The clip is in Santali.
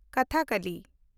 ᱠᱚᱛᱷᱟᱠᱚᱞᱤ